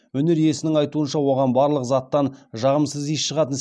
өнер иесінің айтуынша оған барлық заттан жағымсыз иіс шығатын